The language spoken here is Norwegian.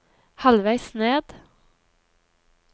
halvveis ned